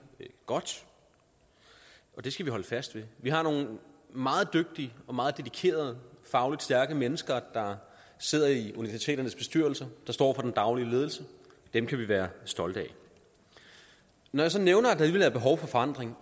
godt og det skal vi holde fast ved vi har nogle meget dygtige og meget dedikerede fagligt stærke mennesker der sidder i universiteternes bestyrelser der står for den daglige ledelse dem kan vi være stolte af når jeg så nævner at der alligevel er behov for forandring